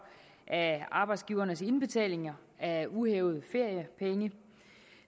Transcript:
af arbejdsgivernes indbetalinger af uhævede feriepenge